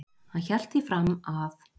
hann hélt því fram að